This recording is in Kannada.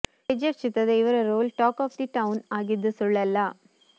ಕೆಜಿಎಫ್ ಚಿತ್ರದ ಇವರ role talk of the town ಆಗಿದ್ದು ಸುಳ್ಳಲ್ಲ